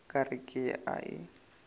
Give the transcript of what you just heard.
ka re ke a e